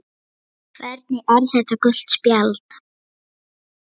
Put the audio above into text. Hvernig er þetta gult spjald?